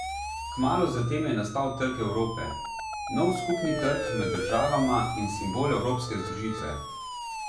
Kmalu zatem je nastal Trg Evrope, nov skupni trg med državama in simbol evropske združitve.